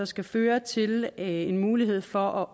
skal føre til en mulighed for